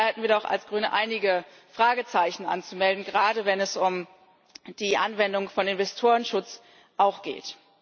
Da hätten wir doch als Grüne einige Fragezeichen anzumelden, gerade wenn es um die Anwendung von Investorenschutz geht.